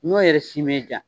N'o yɛrɛ si m'e diya